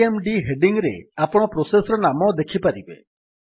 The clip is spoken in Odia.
ସିଏମଡି ହେଡିଙ୍ଗ୍ ରେ ଆପଣ ପ୍ରୋସେସ୍ ର ନାମ ଦେଖିପାରିବେ